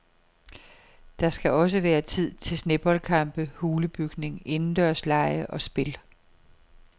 Der skal også være tid til sneboldkampe, hulebygning, indendørslege og spil.